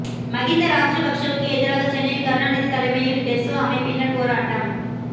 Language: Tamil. மகிந்த ராஜபக்ஸவுக்கு எதிராக சென்னையில் கருணாநிதி தலைமையில் டெசோ அமைப்பினர் போராட்டம்